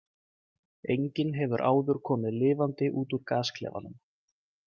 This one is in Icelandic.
Enginn hefur áður komið lifandi út úr gasklefanum.